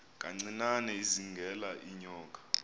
kancinane izingela iinyoka